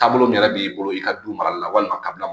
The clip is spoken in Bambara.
Taabolo min yɛrɛ b'i bolo i ka du marali la walima kabila